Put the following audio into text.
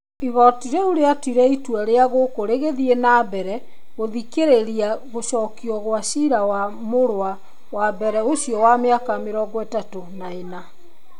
Igoti rĩũ rĩatuire itua rĩu gũkũ rĩgĩthiĩ na mbere gũthikĩrĩria gũcokia gwa cira wa mũrũa wa mbere ũcio wa mĩaka 34.